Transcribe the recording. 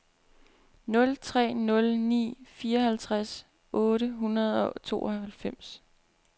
nul tre nul ni fireoghalvtreds otte hundrede og tooghalvfems